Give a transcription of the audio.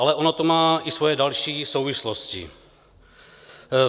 Ale ono to má i svoje další souvislosti.